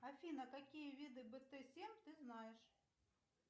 афина какие виды бт семь ты знаешь